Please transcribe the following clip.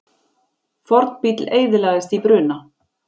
Fornbíll eyðilagðist í bruna